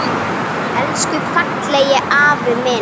Elsku fallegi afi minn.